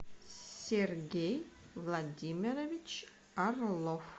сергей владимирович орлов